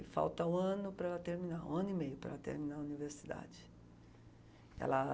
E falta um ano para terminar, um ano e meio para ela terminar a universidade. Ela